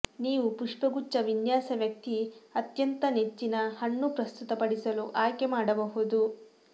ನೀವು ಪುಷ್ಪಗುಚ್ಛ ವಿನ್ಯಾಸ ವ್ಯಕ್ತಿ ಅತ್ಯಂತ ನೆಚ್ಚಿನ ಹಣ್ಣು ಪ್ರಸ್ತುತಪಡಿಸಲು ಆಯ್ಕೆ ಮಾಡಬಹುದು